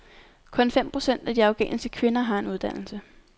Kun fem procent af de afghanske kvinder har en uddannelse.